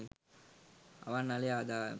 අවන්හලේ ආදායම